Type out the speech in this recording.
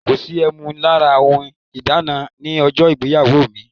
Kò sí ẹmu lára ohun ìdána ní ọjọ́ ìgbéyàwó mi.